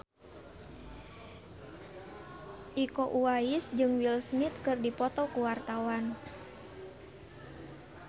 Iko Uwais jeung Will Smith keur dipoto ku wartawan